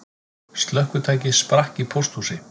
Slökkvitæki sprakk í pósthúsi